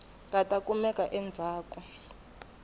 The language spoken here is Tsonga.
nga ta kumeka endzhaku ka